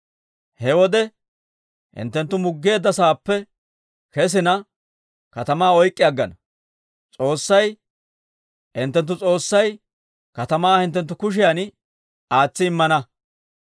He wode hinttenttu muggeedda sa'aappe kesinne, katamaa oyk'k'i aggana; S'oossay hinttenttu S'oossay katamaa hinttenttu kushiyan aatsi immana.